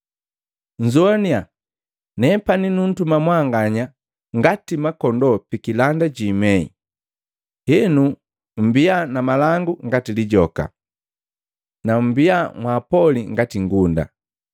“Nnzoaniya, nepani nuntuma mwanganya ngati makondoo pikilanda ji imei. Henu mmbia na malangu ngati lijoka, na mmbia mwaapoli ngati ngunda.